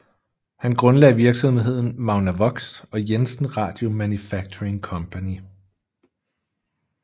Han grundlagde virksomheden Magnavox og Jensen Radio Manufacturing Company